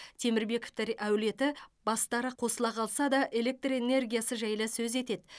темірбековтар әулеті бастары қосыла қалса да электр энергиясы жайлы сөз етеді